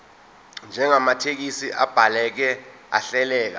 njengamathekisthi abhaleke ahleleka